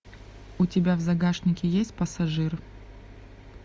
у тебя в загашнике есть пассажир